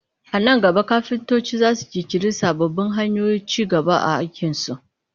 A nan gaba kafintoci za su ƙirƙiri sababbin hanyoyin ci gaba a aikinsu